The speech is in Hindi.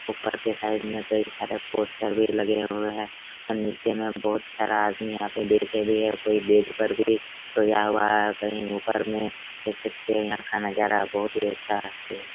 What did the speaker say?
ऊपर के साइड में कई सारे पोस्टर भी लगे हुए है और नीचे में बहुत सारा आदमी यहाँ पे बैठे भी है कोई बेड पर भी सोया हुआ है कहीं ऊपर में देख सकते है यहाँ का नजारा बहुत अच्छा से--